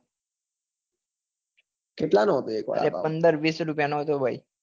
કેટલા નો હતો એક વડાપાઉં એક પંદર વીસ રૂપિયા નો હતો ભાઈ